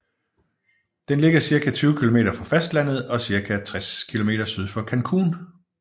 Den ligger cirka 20 km fra fastlandet og cirka 60 km syd for Cancún